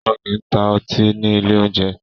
Wọn kì ń ta ọtí ni ilé oúnjẹ